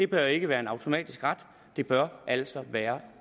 bør ikke være en automatisk ret det bør altså være